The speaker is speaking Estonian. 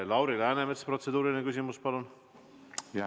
Lauri Läänemets, protseduuriline küsimus, palun!